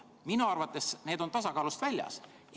Minu arvates on need tasakaalust väljas.